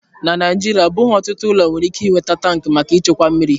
Na Naijiria, ọ bụghị ọtụtụ ụlọ nwere ike ị nweta tankị maka ịchekwa mmiri.